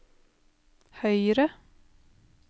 høyre